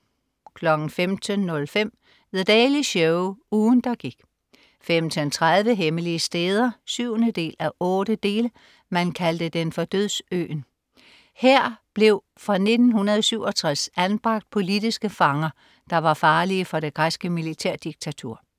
15.05 The Daily Show. Ugen der gik 15.30 Hemmelige steder 7:8. Man kaldte den for "Dødsøen". Her blev fra 1967 anbragt politiske fanger, der var farlige for det græske militærdiktatur